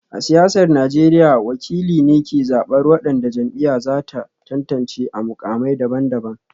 A siyasar Najeriya, wakili ne ke zabar wadanda jam'iyyar za ta tantance a mukamai daban-daban